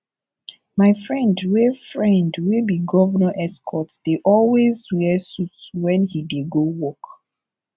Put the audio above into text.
my friend wey friend wey be governor excort dey always wear suit when he dey go work